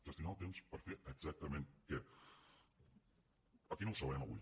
gestionar el temps per a fer exactament què aquí no ho sabrem avui